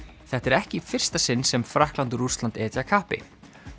þetta er ekki í fyrsta sinn sem Frakkland og Rússland etja kappi